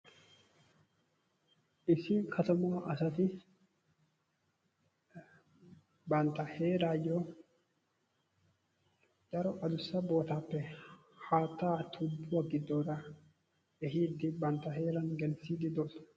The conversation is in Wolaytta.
Issi katama asati bantta heerayyo daro adussa bootaappe haattaa tubuwaa gidoora ehidi bantta heeran gelisside doosona.